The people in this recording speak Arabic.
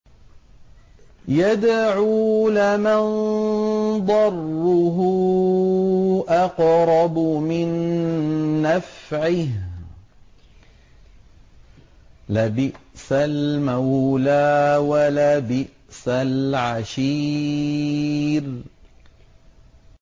يَدْعُو لَمَن ضَرُّهُ أَقْرَبُ مِن نَّفْعِهِ ۚ لَبِئْسَ الْمَوْلَىٰ وَلَبِئْسَ الْعَشِيرُ